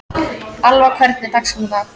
Alva, hvernig er dagskráin í dag?